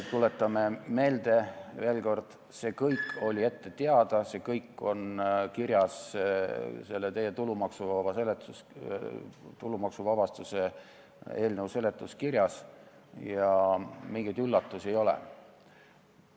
Tuletame veel kord meelde: see kõik oli ette teada, see kõik on kirjas teie tulumaksuvabastuse eelnõu seletuskirjas ja mingeid üllatusi ei ole.